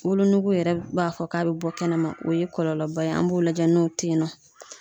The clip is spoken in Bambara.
Wolonugu yɛrɛ b'a fɔ k'a bɛ bɔ kɛnɛma o ye kɔlɔlɔba ye an b'o lajɛ n'o tɛ yen nɔ.